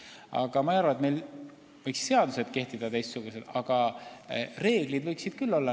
Ma küll ei arva, et meil võiks maakondades kehtida teistsugused seadused, aga reeglid võiksid küll erinevad olla.